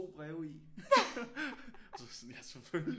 Breve i så var jeg sådan ja selvfølgelig